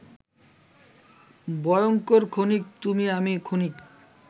ভয়ঙ্কর ক্ষণিক,-তুমি আমি ক্ষণিক